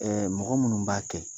Ɛɛ mɔgɔ minnu b'a kɛ